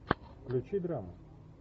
включи драму